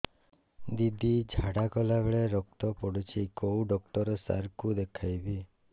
ଦିଦି ଝାଡ଼ା କଲା ବେଳେ ରକ୍ତ ପଡୁଛି କଉଁ ଡକ୍ଟର ସାର କୁ ଦଖାଇବି